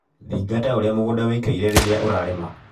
Thingata ũria mũgunda wĩikaire rĩria ũrarĩma.